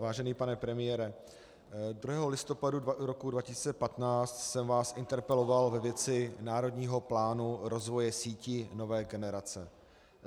Vážený pane premiére, 1. listopadu roku 2015 jsem vás interpeloval ve věci Národního plánu rozvoje sítí nové generace.